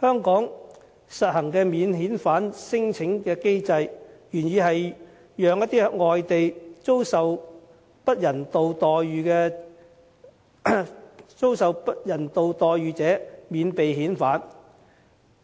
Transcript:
香港實行的免遣返聲請機制，原意是讓一些在外地遭受不人道待遇者免被遣返，